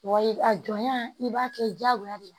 Wayi a jɔnya i b'a kɛ diyagoya de